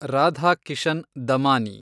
Radhakishan Damani